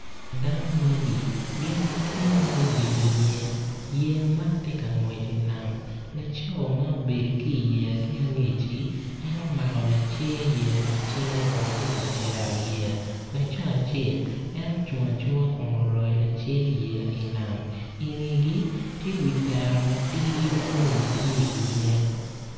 Dano magi gin gitye ma gubedo iye iyeya, yeya man ti ka ngwec inam laco ma obedo ki iyeya ki angecci enomako lacer yeya i cinge kun tye ka cero yeya laco acel en ocung acunga kun oroyo lacer yeya inam ingegi tye wi tera matidi ma lum tye iye